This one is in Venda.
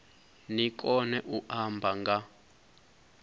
ni kone u amba nga